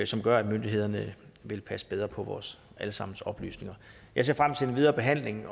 som gør at myndighederne vil passe bedre på vores alle sammens oplysninger jeg ser frem til den videre behandling